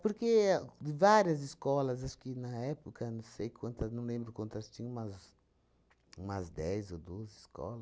Porque de várias escolas, acho que na época, não sei quantas, não lembro quantas tinham, umas umas dez ou doze